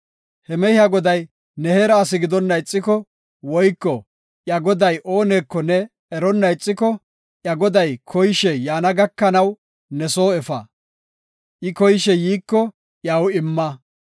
He mehiya goday ne heera asi gidonna ixiko woyko iya goday ooneko ne eronna ixiko, iya goday koyishe yaana gakanaw ne soo efa; I koyishe yiiko iyaw imma.